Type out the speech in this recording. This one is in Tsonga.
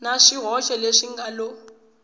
na swihoxo leswi nga lo